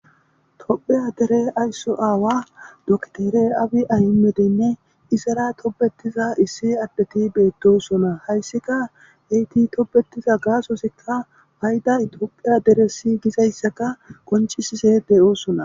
Topheya dere aysso aawa doktere abi aymedeynne isara tobetiza issi addeti beettosona hayssika eyti tobetiza gaasosikka bayda itiophiya deresi gizayssaka koncisise de'oosona.